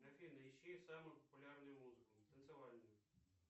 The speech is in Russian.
афина ищи самую популярную музыку танцевальную